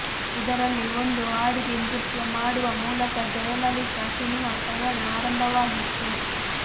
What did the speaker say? ಇದರಲ್ಲಿ ಒಂದು ಹಾಡಿಗೆ ನೃತ್ಯ ಮಾಡುವ ಮೂಲಕ ಜಯಲಲಿತಾ ಸಿನೆಮಾ ಪಯಣ ಆರಂಭವಾಗಿತ್ತು